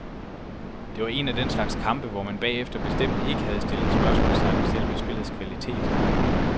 Det var en af den slags kampe, hvor man bagefter bestemt ikke havde stillet spørgsmålstegn ved selve spillets kvalitet.